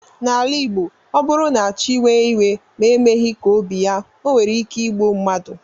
N'ala igbo ọbụrụ na chi wee iwe ma emeghi ka obi ya onwere ike igbụ mmadu.